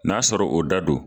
N'a sɔrɔ o da do.